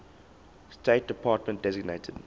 state department designated